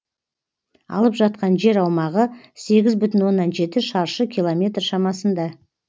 алып жатқан жер аумағы сегіз бүтін оннан жеті шаршы километр шамасында